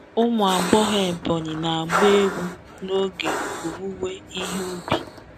Ụmụ agbọghọ Ebonyi na-agba egwu n'oge owuwe ihe ubi.